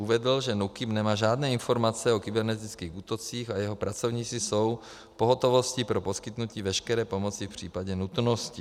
Uvedl, že NÚKIB nemá žádné informace o kybernetických útocích a jeho pracovníci jsou v pohotovosti pro poskytnutí veškeré pomoci v případě nutnosti.